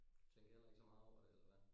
Du tænker heller ikke så meget over det eller hvad?